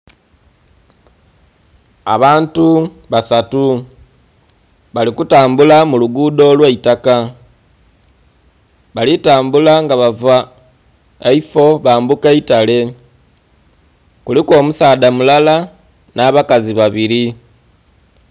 Abantu basatu bali kutambula mulugudo olwaitaka balitambula nga bava eifoo bambuka eitale kuliku omusaadha mulala n'abakazi babiri.